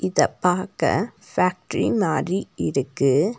இத பாக்க ஃபேக்டரி மாரி இருக்கு.